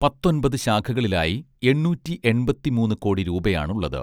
പത്തൊൻപത് ശാഖകളിലായി എണ്ണൂറ്റി എൺപത്തി മൂന്ന് കോടി രൂപയാണുള്ളത്